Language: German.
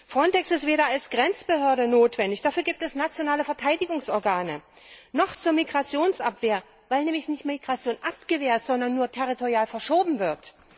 FRONTEX ist weder als Grenzbehörde notwendig dafür gibt es nationale Verteidigungsorgane noch zur Migrationsabwehr, weil nämlich Migration nicht abgewehrt, sondern nur territorial verschoben wird.